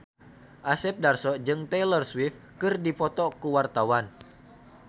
Asep Darso jeung Taylor Swift keur dipoto ku wartawan